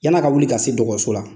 Yan'a ka wuli ka se dɔgɔso la.